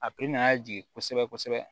A nana jigin kosɛbɛ